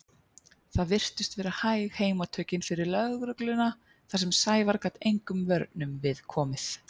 Það virtust vera hæg heimatökin fyrir lögregluna þar sem Sævar gat engum vörnum við komið.